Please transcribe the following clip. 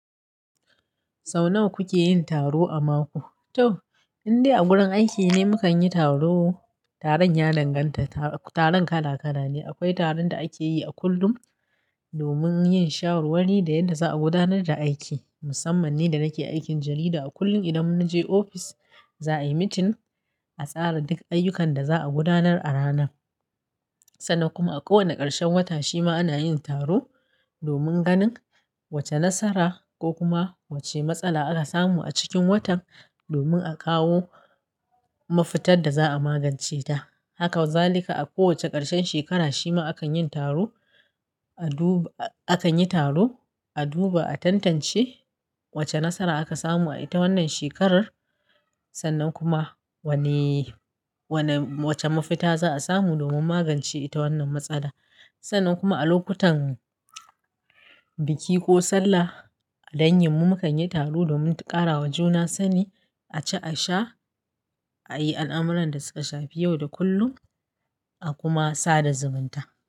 Sau nawa kuke yin taro a mako? To, indai a gurin aikine mukan yi taro. Taron ya danganta, taron kala-kala ne. Akwai taron da ake yi a kullum domin yin shawarwari da yadda za a gudanar da aiki. Musamman ni da nake aikin jarida, a kullum idan mun je ofis, za a yi meeting a tsara duk ayyukan da za a gudanar a ranan. Sannan kuma a kowane karshen wata shima ana yin taro domin ganin wace nasara ko kuma wace matsala aka samu a cikin watan domin a kawo mafitar da za a magance ta. Haka wa zalika a kowace karshen shekara shima akan yin taro a duba, a kan yi taro, a duba, a tantance wace nasara aka samu a ita wannan shekarar. Sannan kuma wanne, wanne, wace mafita za a samu domin magance ita wannan matsala. Sannan kuma a lokutan biki ko sallah, a dangi mu mukan yi taro domin ƙarawa juna sani, a ci, a sha, a yi al'amuran da su ka shafi yau da kullum, a kuma sada zumunta.